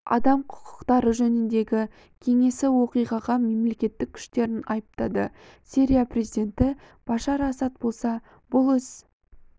адам құқықтары жөніндегі кеңесі оқиғаға мемлекеттік күштерін айыптады сирия президенті башар асад болса бұл іс